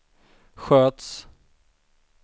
sköts